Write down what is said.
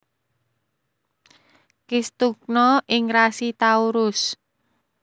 Kistugna ing rasi Taurus